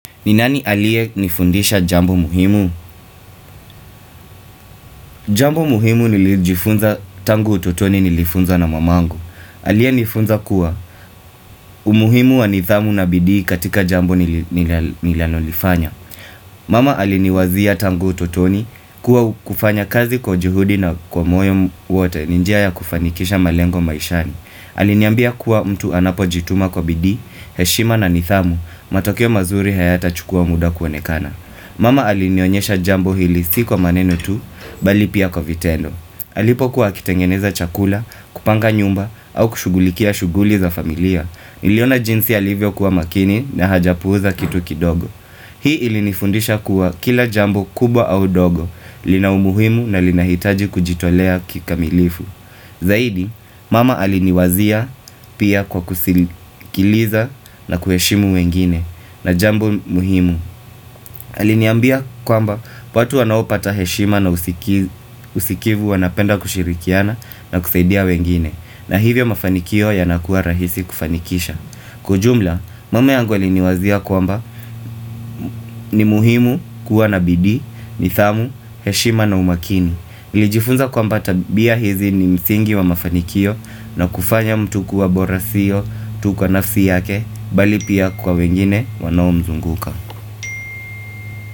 Ni nani aliyenifundisha jambo muhimu? Jambo muhimu nilijifunza tangu utotoni nilifunzwa na mamangu. Aliyenifunza kuwa umuhimu wa nithamu na bidii katika jambo nilanolifanya. Mama aliniwazia tangu utotoni kuwa kufanya kazi kwa juhudi na kwa moyo wote ni njia ya kufanikisha malengo maishani. Aliniambia kuwa mtu anapojituma kwa bidii, heshima na nithamu, matokeo mazuri hayatachukua muda kuonekana. Mama alinionyesha jambo hili si kwa maneno tu, bali pia kwa vitendo. Alipokuwa akitengeneza chakula, kupanga nyumba, au kushughulikia shughuli za familia. Niliona jinsi alivyokuwa makini na hajapuuza kitu kidogo. Hii ilinifundisha kuwa kila jambo kubwa au dogo, lina umuhimu na linahitaji kujitolea kikamilifu. Zaidi, mama aliniwazia pia kwa kusikiliza na kuheshimu wengine na jambo muhimu. Aliniambia kwamba watu wanaopata heshima na usikivu wanapenda kushirikiana na kusaidia wengine na hivyo mafanikio yanakuwa rahisi kufanikisha Kwa ujumla, mama yangu aliniwazia kwamba ni muhimu kuwa na bidii, nithamu, heshima na umakini nilijifunza kwamba tabia hizi ni msingi wa mafanikio na kufanya mtu kuwa bora siyo, tu kwa nafsi yake, bali pia kwa wengine wanaomzunguka.